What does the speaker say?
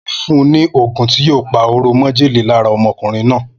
Mo ti fún ni ogún tí yíò pa oró májèlé lára ọmọkùnrin náà